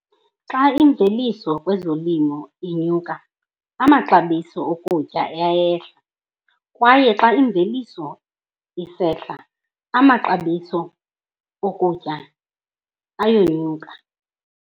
Xa imveliso kwezolimo inyuka amaxabiso okutya ayehla, kwaye xa imveliso isehla amaxabiso okutya ayenyuka.